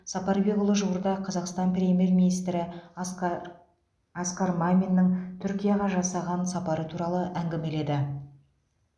сапарбекұлы жуырда қазақстан премьер министрі асқа асқар маминнің түркияға жасаған сапары туралы әңгімеледі